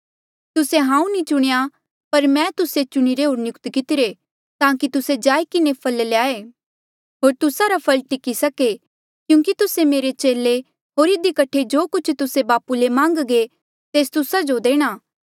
तुस्से हांऊँ नी चुणेया पर मैं तुस्से चुणिरे होर नियुक्त कितिरे ताकि तुस्से जाई किन्हें फल ल्याए होर तुस्सा रा फल टिकी सके क्यूंकि तुस्से मेरे चेले होर इधी कठे जो कुछ तुस्से बापू ले मान्घगे तेस तुस्सा जो देणा